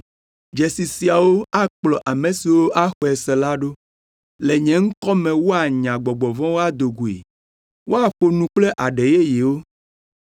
Dzesi siawo akplɔ ame siwo axɔe se la ɖo: le nye ŋkɔ me woanya gbɔgbɔ vɔ̃wo ado goe. Woaƒo nu kple aɖe yeyewo.